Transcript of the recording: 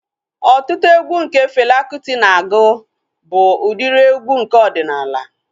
Ọtụtụ egwu nke Fela Kuti na-agụ bụ udiri egwu nke ọdịnala